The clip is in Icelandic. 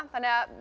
þannig að